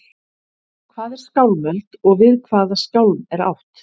Hvað er skálmöld og við hvaða skálm er átt?